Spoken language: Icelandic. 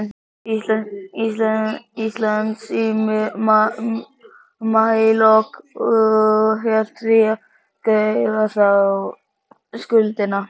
Íslands í maílok og hét því að greiða þá skuldina.